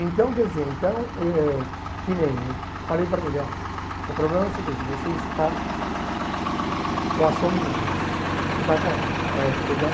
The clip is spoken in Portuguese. Então, quer dizer, então eh que nem eu falei para ele, oh o problema é o seguinte, você está com a sua menina, você está com ela eh que eu já.